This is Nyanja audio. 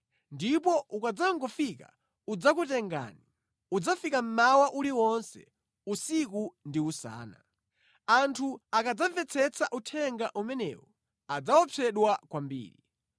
Ndipo ukadzangofika udzakutengani. Udzafika mmawa uliwonse, usiku ndi usana.” Anthu akadzamvetsetsa uthenga umenewu adzaopsedwa kwambiri.